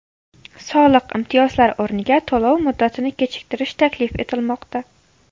Soliq imtiyozlari o‘rniga to‘lov muddatini kechiktirish taklif etilmoqda.